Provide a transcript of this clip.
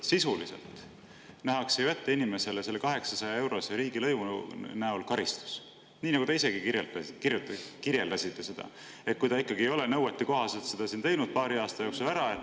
Sisuliselt ju nähakse inimesele selle 800-eurose riigilõivu näol ette karistus – nii nagu te isegi kirjeldasite, et kui ta ikkagi ei ole nõuetekohaselt seda paari aasta jooksul ära teinud.